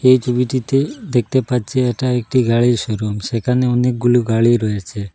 এই ছবিটিতে দেখতে পাচ্ছি এটা একটি গাড়ির শোরুম সেখানে অনেকগুলো গাড়ি রয়েছে।